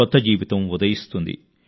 కొత్త జీవితం ఉదయిస్తుంది